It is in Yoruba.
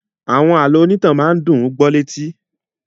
Àwọn àlọ́ ìrìntàn máa ń dùn ún gbó ní etí.